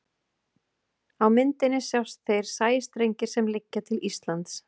á myndinni sjást þeir sæstrengir sem liggja til íslands